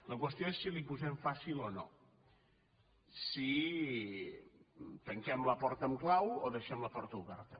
la qüestió és si li ho posem fàcil o no si tanquem la porta amb clau o dei·xem la porta oberta